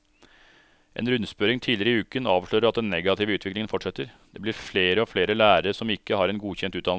En rundspørring tidligere i uken avslører at den negative utviklingen fortsetter, det blir flere og flere lærere som ikke har en godkjent utdannelse.